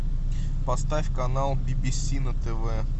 поставь канал би би си на тв